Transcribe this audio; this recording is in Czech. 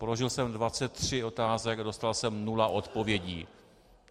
Položil jsem 23 otázek a dostal jsem nula odpovědí.